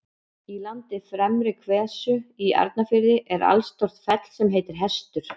Í landi Fremri-Hvestu í Arnarfirði er allstórt fell sem heitir Hestur.